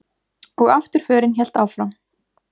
Og afturförin hélt áfram.